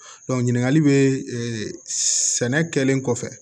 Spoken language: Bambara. ɲininkali bɛ sɛnɛ kɛlen kɔfɛ